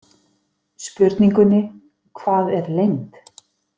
Spurningunni „Hvað er lengd?“